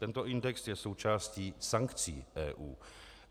Tento index je součástí sankcí EU.